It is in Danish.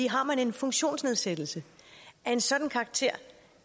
har man en funktionsnedsættelse af en sådan karakter